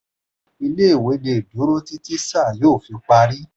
ilé-ìwé le duro títí sáà yóò fi parí.